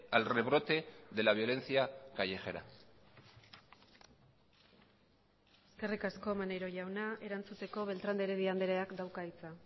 al rebrote de la violencia callejera eskerrik asko maneiro jauna erantzuteko beltrán de heredia andreak dauka hitza